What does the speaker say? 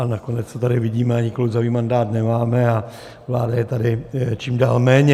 A nakonec to tady vidíme, ani klouzavý mandát nemáme a vláda je tady čím dál méně.